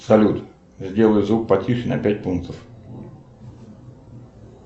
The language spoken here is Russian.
салют сделай звук потише на пять пунктов